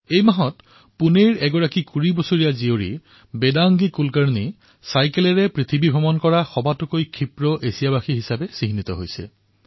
এই মাহতে পুণেৰ এগৰাকী ২০ বছৰীয়া কন্যা বেদাংগী কুলকাৰ্ণীয়ে চাইকেলেৰ বিশ্ব পৰিক্ৰমা কৰি সকলোতকৈ দ্ৰুত এছিয়ান হিচাপে পৰিচিত হৈছে